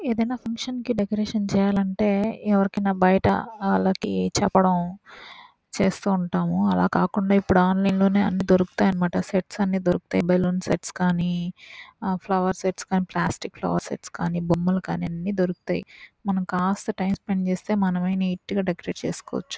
ఏదైనా ఫంక్షన్ కి డెకొరేషన్ చేయాలంటే ఎవరికైనా బయట వాళ్ళకి చెప్పడం చేస్తుంటాము అలాకాకుండా ఇప్ప్పుడు ఆన్లైన్ లోనే అన్నీ దొరుకుతాయి అన్నమాట సెట్స్ అన్నీ దొరుకుతాయి బెలూన్ సెట్స్ కానీ ఫ్లవర్ సెట్స్ కానీ ప్లాస్టిక్ ఫ్లవర్ సెట్స్ కానీ బొమ్మలు కానీ దొరుకుతాయ్ మనం కాస్త టైం స్పెండ్ చేస్తే మనమే నీట్ గ డెకరేట్ చేసుకోవచ్చు.